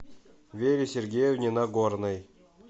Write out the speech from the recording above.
вере сергеевне нагорной